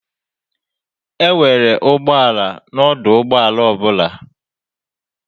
Enwere ụgbọ ala na ọdụ ụgbọ ala ọ bụla.